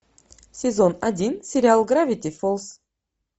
сезон один сериал гравити фолз